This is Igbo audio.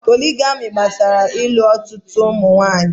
Pólị́gamị́ gbasara ị́lu ọtụtụ ụmụ nwanyị.